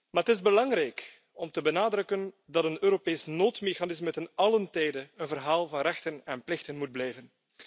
Maar het is belangrijk om te benadrukken dat een Europees noodmechanisme te allen tijde een verhaal van rechten en plichten moet blijven.